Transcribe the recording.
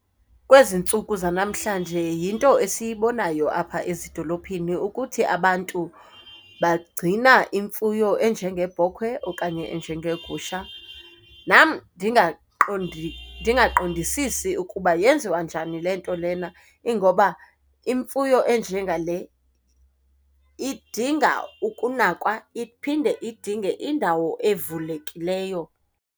Kwezi ntsuku zanamhlanje yinto esiyibonayo apha ezidolophini ukuthi abantu bagcina imfuyo enjengebhokhwe okanye enjengegusha. Nam ndingaqondi ndingaqondisisi ukuba yenziwa njani le nto lena ingoba imfuyo enje ngale idinga ukunakwa, iphinde idinge indawo evulekileyo.